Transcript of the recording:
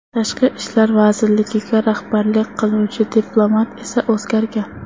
Tashqi ishlar vazirligiga rahbarlik qiluvchi diplomat esa o‘zgargan.